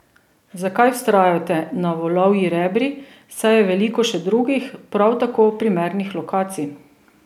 Zakaj vztrajate na Volovji rebri, saj je veliko še drugih, prav tako primernih lokacij?